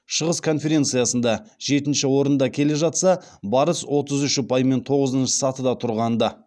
шығыс конференциясында жетінші орында келе жатса барыс отыз үш ұпаймен тоғызыншы сатыда тұрған ды